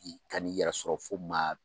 I ka ni yɛrɛ sɔrɔ fo ma.